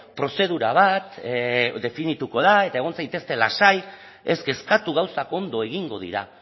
prozedura bat definituko da eta egon zaitezte lasai ez kezkatu gauzak ondo egingo dira